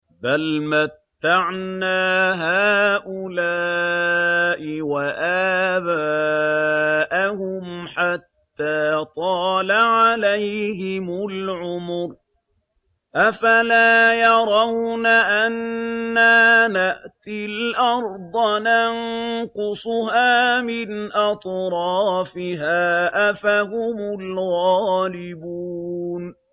بَلْ مَتَّعْنَا هَٰؤُلَاءِ وَآبَاءَهُمْ حَتَّىٰ طَالَ عَلَيْهِمُ الْعُمُرُ ۗ أَفَلَا يَرَوْنَ أَنَّا نَأْتِي الْأَرْضَ نَنقُصُهَا مِنْ أَطْرَافِهَا ۚ أَفَهُمُ الْغَالِبُونَ